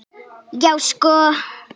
Já, sko!